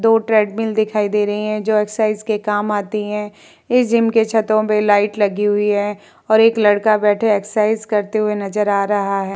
दो ट्रेडमिल दिखाई दे रही हैं जो एक्सरसाइज के लिए काम आती हैं। इस जिम के छतो में लाइट लगी हुई है और एक लड़का बैठे एक्सरसाइज करते हुए नज़र आ रहा है।